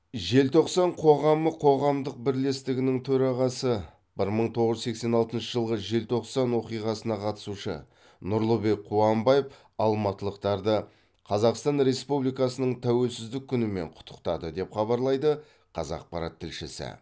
желтоқсан қоғамы қоғамдық бірлестігінің төрағасы бір мың тоғыз жүз сексен алтыншы жылғы желтоқсан оқиғасына қатысушы нұрлыбек қуанбаев алматылықтарды қазақстан республикасының тәуелсіздік күнімен құттықтады деп хабарлайды қазақпарат тілшісі